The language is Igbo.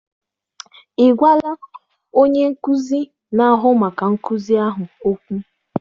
Ị gwala onye nkuzi na-ahụ maka nkuzi ahụ okwu?